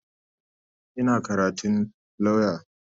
Ina karatun lauya.